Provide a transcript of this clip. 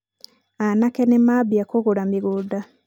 aanake nĩ maambia kũgũra mĩgũnda.